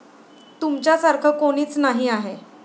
तुमच्यासारखं कोणीच नाही आहे.